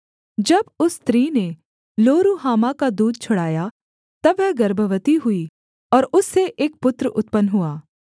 जब उस स्त्री ने लोरुहामा का दूध छुड़ाया तब वह गर्भवती हुई और उससे एक पुत्र उत्पन्न हुआ